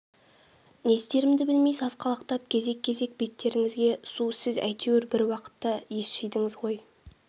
не істерімді білмей сасқалақтап кезек-кезек беттеріңізге су сіз әйтеуір бір уақытта ес жидыңыз ғой